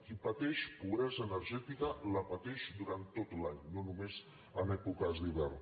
qui pateix pobresa energètica la pateix durant tot l’any no només en èpoques d’hivern